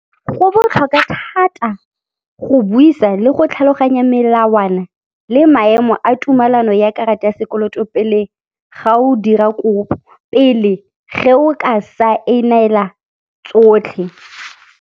Go botlhokwa thata go buisa le go tlhaloganya melawana le maemo a tumalano ya karata ya sekoloto pele ga o dira kopo, pele ge o ka saenela tsotlhe.